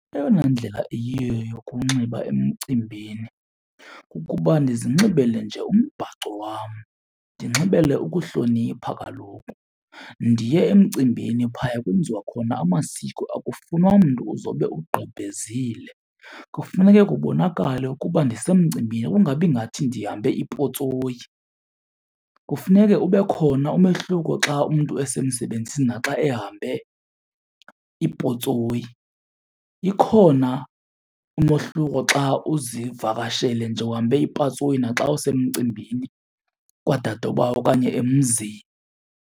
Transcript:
Eyona ndlela iyiyo yokunxiba emcimbini kukuba ndizinxibele nje umbhaco wam, ndinxibele ukuhlonipha kaloku. Ndiye emcimbini phaya kwenziwa khona amasiko akufunwa mntu uzobe ugqebhezile, kufuneke kubonakale ukuba ndisemcimbini kungabi ngathi ndihambe ipotsoyi. Kufuneke ube khona umehluko xa umntu esemsebenzini naxa ehambe ipotsoyi, ikhona umohluko xa uzivakashele nje uhambe ipotsoyi na xa usemcimbini kwadadobawo okanye emzini.